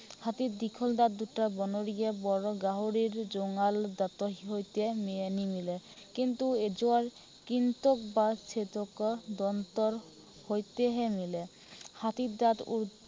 হাতীৰ দীঘল দাঁত দুটা বনৰীয়া বৰ গাহৰিৰ জোঙাল দাঁতৰ সৈতে নিমিলে। কিন্তু এই যোৱাৰ কিন্তু বাচি থকা জন্তুৰ সৈতেহে মিলে। হাতীৰ দাঁত উম